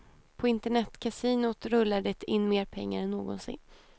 På internetkasinot rullar det in mer pengar än någonsin.